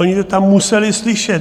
Oni to tam museli slyšet.